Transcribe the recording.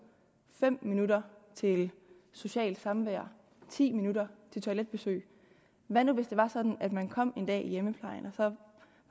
fem minutter til socialt samvær ti minutter til toiletbesøg hvad nu hvis det var sådan at man kom en dag i hjemmeplejen